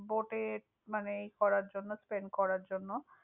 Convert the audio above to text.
Boat এ মানে করার জন্য, spent করার জন্য।